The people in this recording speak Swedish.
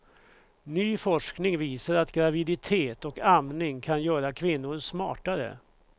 Ny forskning visar att graviditet och amning kan göra kvinnor smartare.